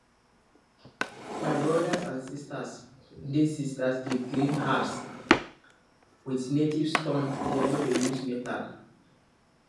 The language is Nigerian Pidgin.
my brothers and sisters dey sisters dey grind herbs with native stone dem no dey use metal